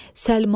Səlma!